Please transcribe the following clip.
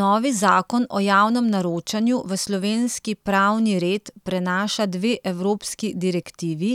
Novi zakon o javnem naročanju v slovenski pravni red prenaša dve evropski direktivi,